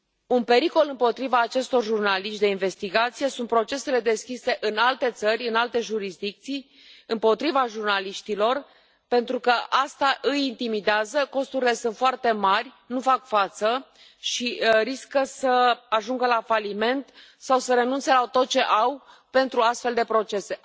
Un pericol împotriva acestor jurnaliști de investigație sunt procesele deschise în alte țări, în alte jurisdicții, împotriva jurnaliștilor, pentru că asta îi intimidează, costurile sunt foarte mari, nu fac față și riscă să ajungă la faliment sau să renunțe la tot ce au pentru astfel de procese.